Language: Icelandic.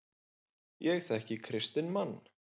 Ég þekki kristinn mann.